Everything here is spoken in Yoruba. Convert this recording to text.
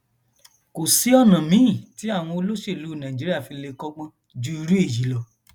kò sí ọnà míín tí àwọn olóṣèlú nàìjíríà fi lè kọgbọn ju irú èyí lọ